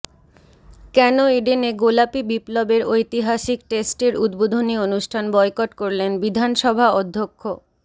কেন ইডেনে গোলাপি বিপ্লবের ঐতিহাসিক টেস্টের উদ্বোধনী অনুষ্ঠান বয়কট করলেন বিধানসভা অধ্যক্ষ